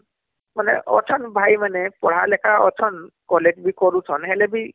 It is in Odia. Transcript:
ମାନେ ଅଛନ ଭାଇ ମାନେ ପଢା ଲିଖା ଅଛନ collegeବି କରୁଛନ ହେଲେବି ..